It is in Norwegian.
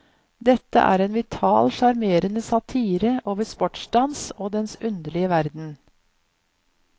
Dette er en vital, sjarmerende satire over sportsdans og dens underlige verden.